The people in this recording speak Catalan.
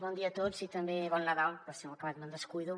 bon dia a tots i també bon nadal per si a l’acabar me’n descuido